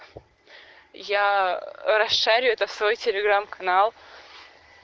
я расшаряю это в свой телеграм канал